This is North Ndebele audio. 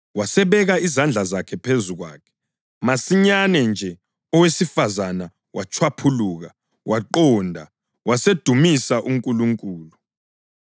Wasebeka izandla zakhe phezu kwakhe, masinyane nje owesifazane watshwaphuluka, waqonda, wasedumisa uNkulunkulu.